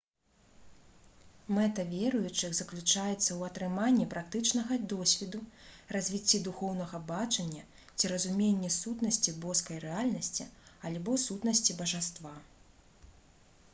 мэта веруючых заключаецца ў атрыманні практычнага досведу развіцці духоўнага бачання ці разуменні сутнасці боскай рэальнасці альбо сутнасці бажаства